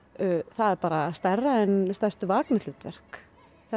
það er stærra en stærstu hlutverk